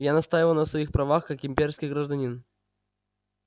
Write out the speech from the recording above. я настаиваю на своих правах как имперский гражданин